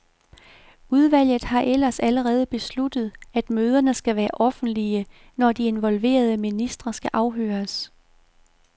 Udvalget har ellers allerede besluttet, at møderne skal være offentlige, når de involverede ministre skal afhøres.